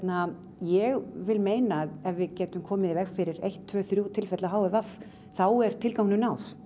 ég vil meina að ef við getum komið í veg fyrir eitt tvö þrjú tilfelli af h i v þá er tilganginum náð